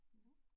Mh